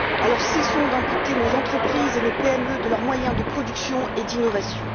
Alors cessons d'amputer nos entreprises et nos PME de leurs moyens de production et d'innovation.